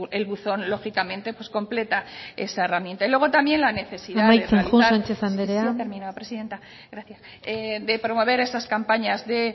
el buzón lógicamente completa esa herramienta y luego también la necesidad de realizar amaitzen joan sánchez andrea sí ya termino presidenta gracias de promover esas campañas de